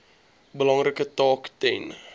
belangrike taak ten